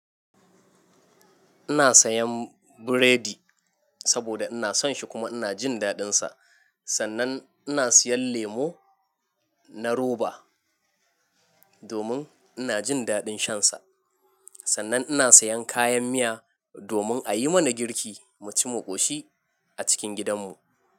Ina sayan burodi saboda ina son shi kuma ina jin daɗinsa. Sannan ina siyan lemu na roba domin ina jin daɗin shansa. Sannan ina sayan kayan miya domin a yi mana girki mu ci mu koshi a cikin gidanmu.